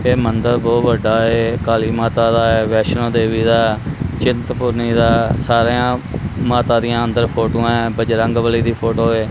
ਇਹ ਮੰਦਰ ਬਹੁਤ ਵੱਡਾ ਹੈ ਕਾਲੀ ਮਾਤਾ ਦਾ ਵੈਸ਼ਨੋ ਦੇਵੀ ਦਾ ਚਿੰਤਪੁਰਨੀ ਦਾ ਸਾਰਿਆਂ ਮਾਤਾ ਦੀਆਂ ਅੰਦਰ ਫੋਟੋਆਂ ਐ ਬਜਰੰਗਬਲੀ ਦੀ ਫੋਟੋ ਏ।